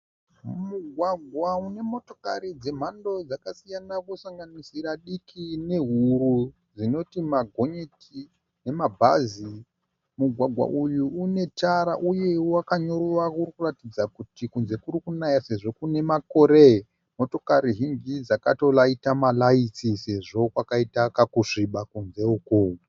Mumugwagwa mune motokorai dzemhando dzakasiyana inosanganisira diki nehuru dzinoti magonyeti nemabhazi. Mugwagwa uyu une tara uye wakanyorova uri kuratidza kuti kunze kuri kunaya sezvo kune makore. Motikari zhinji dzakatoraita maraiti sezvo kwakaita kakusviba kunze uku.